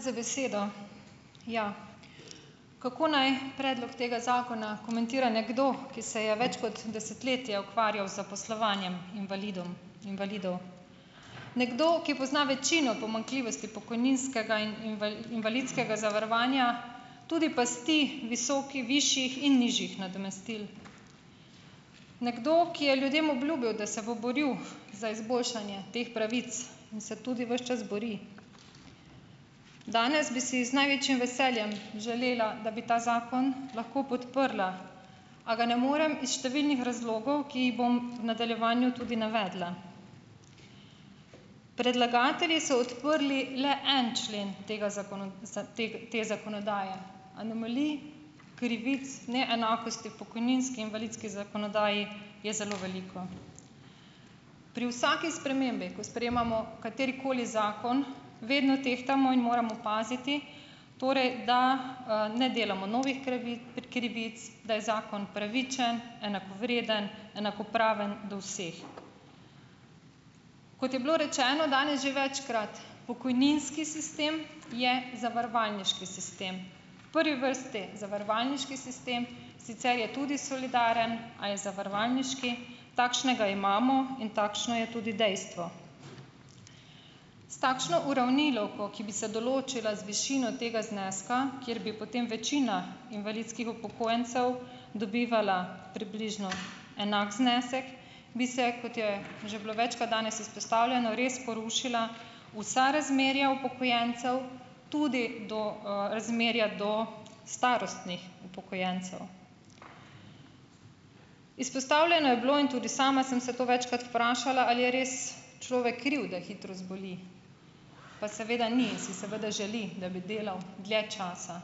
Hvala za besedo. Ja, kako naj predlog tega zakona komentira nekdo, ki se je več kot desetletje ukvarjal zaposlovanjem invalidom, invalidov? Nekdo, ki pozna večino pomanjkljivosti pokojninskega in invalidskega zavarovanja, tudi pasti visokih, višjih in nižjih nadomestil. Nekdo, ki je ljudem obljubil, da se bo boril za izboljšanje teh pravic in se tudi ves čas bori. Danes bi si z največjim veseljem želela, da bi ta zakon lahko podprla, a ga ne morem iz številnih razlogov, ki jih bom v nadaljevanju tudi navedla. Predlagatelji so odprli le en člen tega te, te zakonodaje anomalij, krivic, neenakosti v pokojninski in invalidski zakonodaji je zelo veliko . Pri vsaki spremembi, ko sprejemamo katerikoli zakon, vedno tehtamo in moramo paziti torej, da ne delamo novih krivic, da je zakon pravičen, enakovreden, enakopraven do vseh. Kot je bilo rečeno danes že večkrat, pokojninski sistem je zavarovalniški sistem. Prvi vrsti zavarovalniški sistem, sicer je tudi solidaren, a je zavarovalniški, takšnega imamo in takšno je tudi dejstvo. S takšno uravnilovko, ki bi se določila z višino tega zneska, kjer bi potem večina invalidskih upokojencev dobivala približno enak znesek, bi se, kot je že bilo večkrat danes izpostavljeno, res porušila vsa razmerja upokojencev, tudi do razmerja do starostnih upokojencev. Izpostavljeno je bilo in tudi sama sem se to večkrat vprašala, ali je res človek kriv, da hitro zboli. Pa seveda ni, si seveda želi , da bi delal dlje časa.